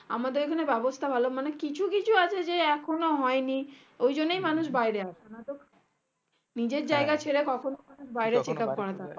আমাদের এখানে ব্যাবস্তা ভালো মানে কিছু কিছু আছে যা এখনো হয়নি ওই জন্যে মানুষ বাইরে আসে নাতো নিজের জায়গা ছেড়ে কখনো অমানুষ